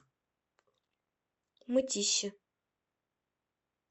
мытищи